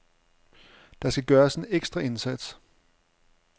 Der skal gøres en ekstra indsats.